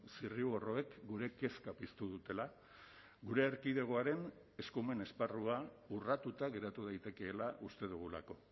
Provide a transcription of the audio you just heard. zirriborroek gure kezka piztu dutela gure erkidegoaren eskumen esparrua urratuta geratu daitekeela uste dugulako